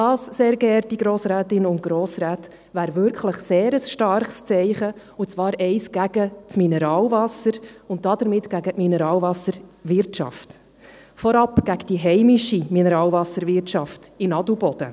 Das, sehr geehrte Grossrätinnen und Grossräte, wäre wirklich ein sehr starkes Zeichen, und zwar eines gegen das Mineralwasser und damit gegen die Mineralwasserwirtschaft – vorab gegen die heimische Mineralwasserwirtschaft in Adelboden.